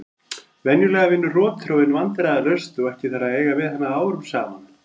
Venjulega vinnur rotþróin vandræðalaust og ekki þarf að eiga við hana árum saman.